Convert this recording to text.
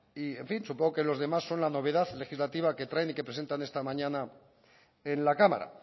y en fin supongo que los demás son la novedad legislativa que traen y que presentan esta mañana en la cámara